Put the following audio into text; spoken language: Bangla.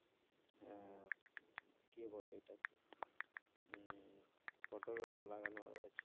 কি বলে ওইটাকে? উম পটল ফটল লাগানো হয়ে গেছে।